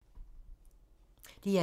DR2